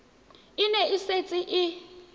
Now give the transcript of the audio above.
e ne e setse e